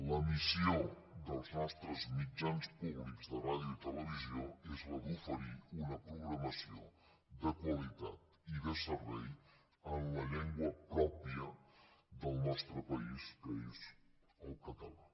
la missió dels nostres mitjans públics de ràdio i televisió és la d’oferir una programació de qualitat i de servei en la llengua pròpia del nostre país que és el català